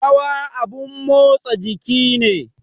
Rawa abun motsa jiki ne